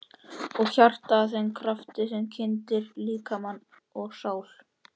Og hjartað að þeim krafti sem kyndir líkama og sál?